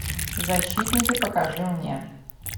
защитники покажи мне